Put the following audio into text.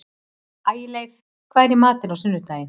Ægileif, hvað er í matinn á sunnudaginn?